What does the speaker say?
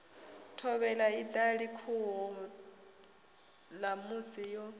thovhela iṱali khuhu ṋamusi yo